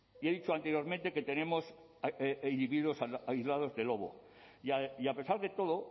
y he dicho anteriormente que tenemos individuos aislados de lobo y a pesar de todo